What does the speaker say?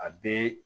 A bɛɛ